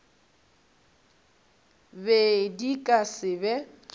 be di ka se be